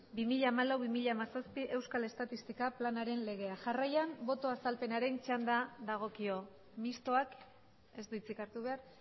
bi mila hamalau bi mila hamazazpi euskal estatistika planaren legea jarraian boto azalpenaren txanda dagokio mistoak ez du hitzik hartu behar